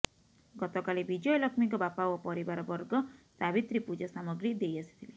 ଗତକାଲି ବିଜୟଲକ୍ଷ୍ମୀଙ୍କ ବାପା ଓ ପରିବାରବର୍ଗ ସାବିତ୍ରୀ ପୂଜା ସାମଗ୍ରୀ ଦେଇ ଆସିଥିଲେ